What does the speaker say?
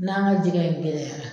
N'a ka jɛgɛ in gɛlɛyara